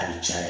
A bɛ cɛn